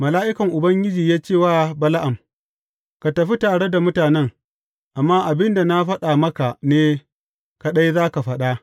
Mala’ikan Ubangiji ya ce wa Bala’am, Ka tafi tare da mutanen, amma abin da na faɗa maka ne kaɗai za ka faɗa.